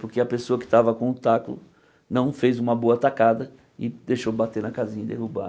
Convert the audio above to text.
Porque a pessoa que estava com o taco não fez uma boa tacada e deixou bater na casinha e derrubar.